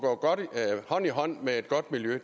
hånd i hånd med et godt miljø